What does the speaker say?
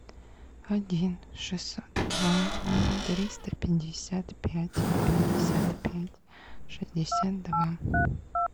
один шестьсот два триста пятьдесят пять пятьдесят пять шестьдесят два